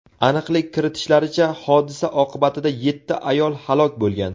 Aniqlik kiritishlaricha, hodisa oqibatida yetti ayol halok bo‘lgan.